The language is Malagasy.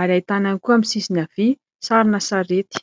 ary ahitana ihany koa amin'ny sisiny havia sarina sarety.